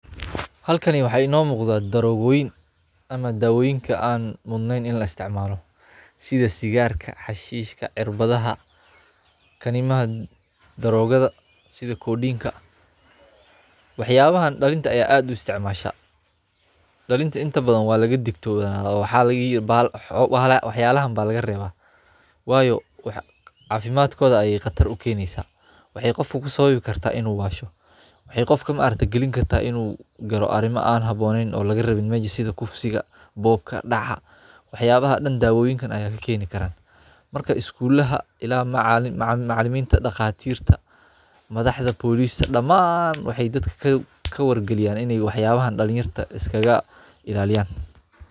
Halkani waxaa ino muqda darogoyin ama daawoyinka aan mudneen in laistacmaalo sidha sigaarka xashiishka cirbadhaha kaniimaha daroogadha sidha codienka. Waxyaabahan dalinta ee add usiticmasha. dalinta inta badhan waalagadigtoonadhaya waxyaalaha baa lagarebaa wayo caafimadkodha bey qatar ukeeneysa. Waxey qofku kusababi karta inuu washo, waxey qofku ukenikarta inuu galo arimo aan haboonenn aan lagarabin oo lagarabin meja sidha kufsiga buuka daca, waxyaabahan dan dawooyinkan ayaa kakeni karaan. Marka iskulaha ila macaliminta daqaatirka madhaxda polista damaan waxey dadka kawargaliyaan in wacyabahan dalinyarta iskailaaliyan.